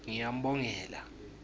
ngiyambongela